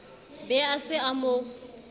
be a se a mo